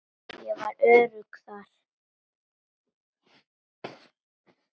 Ég var öruggur þar.